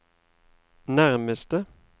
nærmeste